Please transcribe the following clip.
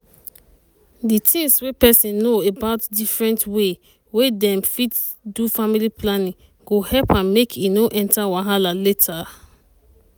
di things wey peson know about different way wey peson fit do family planning go help am make e no enta wahala later.